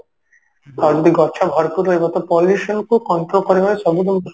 ଆଉ ଯଦି ଗଛ ଭରପୁର ରହିବ ତ pollution କୁ control କରିବାର ସବୁଯାକ